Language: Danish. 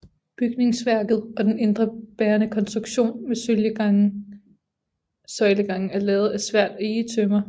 Bygningsværket og den indre bærende konstruktion med søjlegange er lavet af svært egetømmer